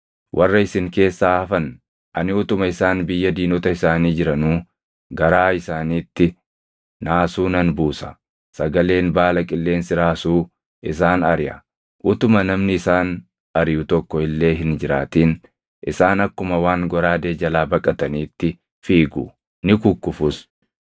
“ ‘Warra isin keessaa hafan, ani utuma isaan biyya diinota isaanii jiranuu garaa isaaniitti naasuu nan buusa. Sagaleen baala qilleensi raasuu isaan ariʼa; utuma namni isaan ariʼu tokko illee hin jiraatin isaan akkuma waan goraadee jalaa baqataniitti fiigu; ni kukkufus.